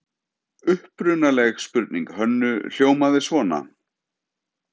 Upprunaleg spurning Hönnu hljómaði svona: